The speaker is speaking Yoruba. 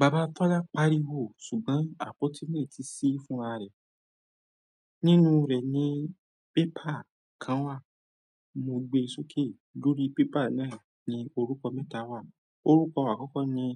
Baba Tọ́lá pariwo ṣùgbọ́n àpótí lè ti sí fún ra rẹ̀. Nínú rẹ̀ ni paper kan wà. Mo gbe sókè, lórí paper náà ni orúkọ mẹ́ta wà. Òrúkọ àkọ́kọ́ ni